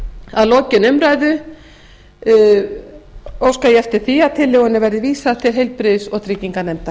að lokinni þessari umræðu óska ég eftir því að tillögunni verði vísað til háttvirtrar heilbrigðis og trygginganefndar